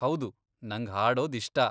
ಹೌದು, ನಂಗ್ ಹಾಡೋದ್ ಇಷ್ಟ.